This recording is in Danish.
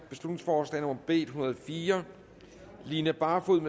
beslutningsforslag nummer b en hundrede og fire line barfod